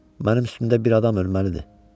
Mənim üstümdə bir adam ölməlidir.